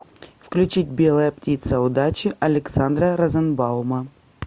включить белая птица удачи александра розенбаума